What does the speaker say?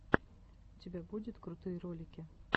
у тебя будет крутые ролики